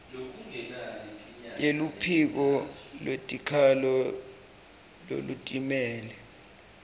yeluphiko lwetikhalo lolutimele